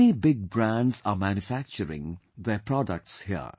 Many big brands are manufacturing their products here